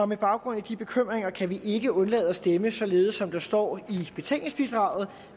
med baggrund i de bekymringer kan vi ikke undlade at stemme således som der står i betænkningsbidraget